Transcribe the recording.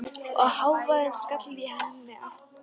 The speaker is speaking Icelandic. Og hávaðinn skall á henni aftur.